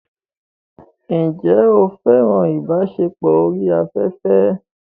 Ǹjẹ́ o fẹ́ràn ìbáṣepọ̀ orí afẹ́fẹ́?